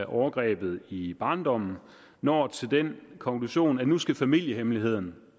overgreb i barndommen når til den konklusion at nu skal familiehemmeligheden